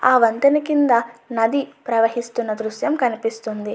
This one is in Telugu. ఆ వంతెన కింద నది ప్రవహిస్తున్న దృశ్యం కనపిస్తున్నది.